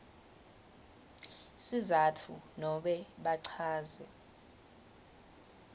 sizatfu nobe bachaze